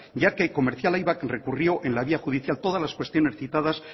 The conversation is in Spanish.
ya que comercial aibak recurrió en la vía judicial todas las cuestiones citadas